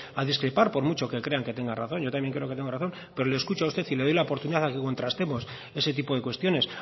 a discrepar por mucho que crean que tengan razón yo también creo que tengo razón pero le escucho a usted y le doy la oportunidad a que contrastemos ese tipo de cuestiones